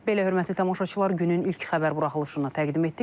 Belə, hörmətli tamaşaçılar, günün ilk xəbər buraxılışını təqdim etdik.